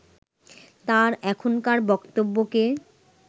তার এখনকার বক্তব্যকে